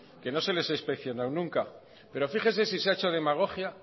que no se les ha inspeccionado nunca pero fíjese si se ha hecho demagogia